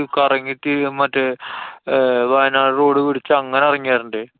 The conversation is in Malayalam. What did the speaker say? കറങ്ങി തിരിഞ്ഞു മറ്റേ ആഹ് വയനാട് road പിടിച്ചു അങ്ങനെ എറങ്ങി വരണ്ടേ.